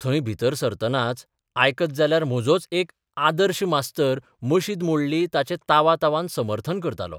थंय भितर सरतनाच आयकत जाल्यार म्हजोच एक 'आदर्श 'मास्तर मशीद मोडली ताचें तावातावन समर्थन करतालो.